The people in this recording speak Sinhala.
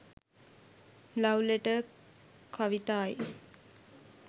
love letter kavithai